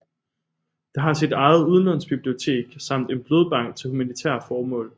Det har sit eget udlånsbibliotek samt en blodbank til humanitære formål